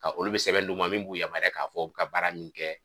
Ka olu bɛ sɛbɛn d'u ma min b'u yamariya k'a fɔ o bɛ baara min kɛ